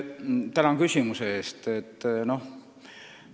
Tänan küsimuse eest!